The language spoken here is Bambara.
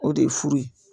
O de ye furu ye